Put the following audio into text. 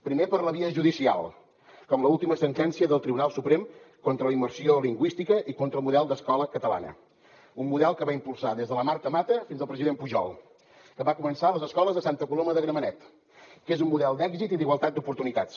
primer per la via judicial com l’última sentència del tribunal suprem contra la immersió lingüística i contra el model d’escola catalana un model que van impulsar des de la marta mata fins al president pujol que va començar les escoles a santa coloma de gramenet que és un model d’èxit i d’igualtat d’oportunitats